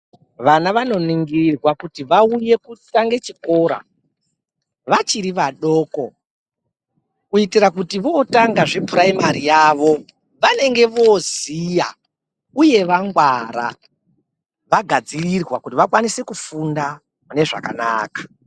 Vana vanoningirwa kuti vauye kutanga chikora vachiri vadoko. Kuitira kuti votanga zvePurayimari yavo vanenge voziya, uye vangwara, vagadzirirwa kuti vakwanise kufunda munezvakanaka.